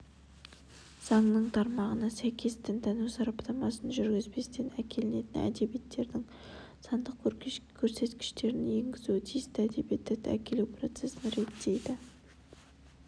заңның тармағына сәйкес дінтану сараптамасын жүргізбестен әкелінетін әдебиеттердің сандық көрсеткішін енгізу тиісті әдебиетті әкелу процесін реттейді